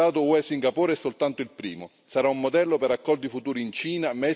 Sarà un modello per accordi futuri in Cina, Messico e altri grandi economie del mondo.